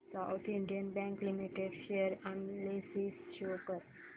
south Indian Bank Limited share analysis show कर